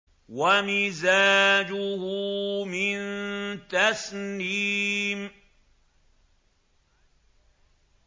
وَمِزَاجُهُ مِن تَسْنِيمٍ